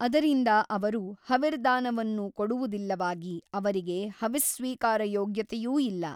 ಅದರಿಂದ ಅವರು ಹವಿರ್ದಾನವನ್ನು ಕೊಡುವುದಿಲ್ಲವಾಗಿ ಅವರಿಗೆ ಹವಿಸ್ಸ್ವೀಕಾರಯೋಗ್ಯತೆಯೂ ಇಲ್ಲ.